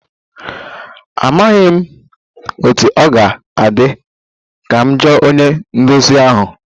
Amaghị m otú ọ ga-adị, ka m jụọ onye nduzi ahụ